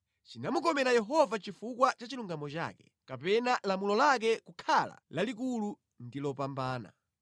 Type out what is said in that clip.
Chinamukomera Yehova chifukwa cha chilungamo chake, kapena lamulo lake kukhala lalikulu ndi lopambana.